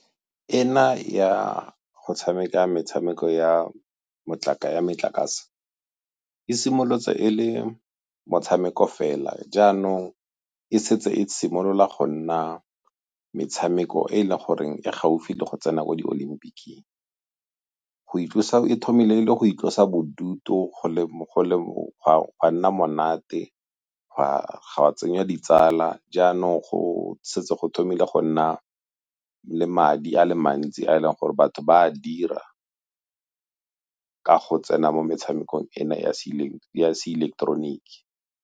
Ena ya go tshameka metshameko ya metlakase e simolotse e le motshameko fela jaanong e setse e simolola go nna metshameko e le goreng e gaufi le go tsena ko di-olympic-keng. e thomile e le go itlosa bodutu, go a nna monate go a tsenya ditsala jaanong go setse go thomile go nna le madi a le mantsi a e leng gore batho ba a dira ka go tsena mo metshamekong ena ya se ileketeroniki.